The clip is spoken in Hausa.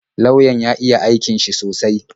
Lauyan ya iya aikin shi sosai